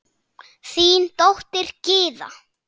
Þín dóttir, Gyða.